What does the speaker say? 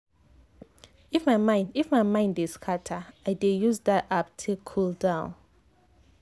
if my mind if my mind dey scatter i dey use that app take cool down